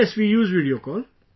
Yes, we use Video Call